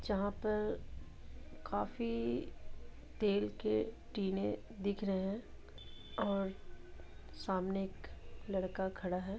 जहां पर काफी तेल के टिने दिख रहे है और सामने एक लड़का खड़ा है ।